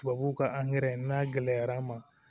Tubabuw ka n'a gɛlɛyara an ma